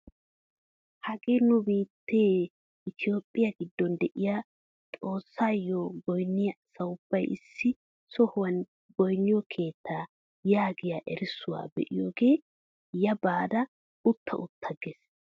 hagee nu biittee itoophphiyaa giddon de'iyaa xoossaayo goynniyaa asaa ubbay issi sohuwaan goynniyoo keettaa yaagiyaa erissuwaa be'iyoogee yaa baada utta utta ges!